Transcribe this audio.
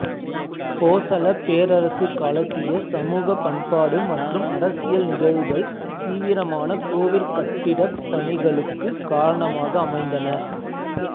போசளப் பேரரசுக் காலத்திய சமூக பண்பாடு மற்றும் அரசியல் நிகழ்வுகள் தீவிரமான கோவிற் கட்டிடப் பணிகளுக்குக் காரணமாக அமைந்தன